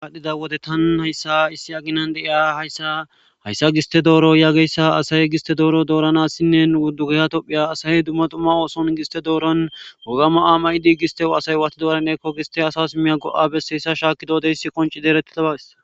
aadhdhida wode tan hayssa issi aginan deiya hya hayssa giste dooro yaageyssa asaye giste dooro dooranassinne uddugaya tophiya asaye dumma dumma ooson giste dooron wogama aamay dii gistewo asay waati doorannekko giste asa simiya go7a besseyssa shaakkidodeyss qonci deerettidabas